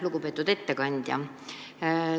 Lugupeetud ettekandja!